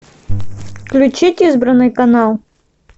включить избранный канал